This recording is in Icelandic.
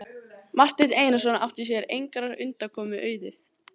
Marteinn Einarsson átti sér engrar undankomu auðið.